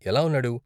ఎలా ఉన్నాడు?